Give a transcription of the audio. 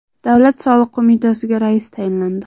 Davlat soliq qo‘mitasiga rais tayinlandi.